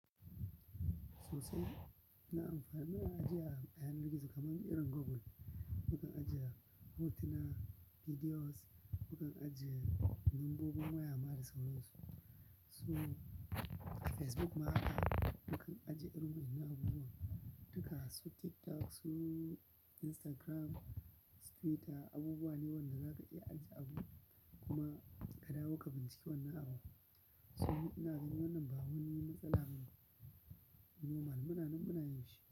Susai ina amfani --muna ajiye a yanar gizo kamar irin Google. Mukan ajiya hotuna, bidiyos, mu kan ajiye lambobi, waya ma da sauran su. Facebook ma haka mukan ajiye irin waƴannan abubuwan. Su TikTok, su Instagram, su Twitter abubuwa ne wanda zaka iya ajiye abu kuma ka dawo ka bincike wannan abu. Su ina gani wannan ba wani matsala ba ne, normal muna nan muna yin shi.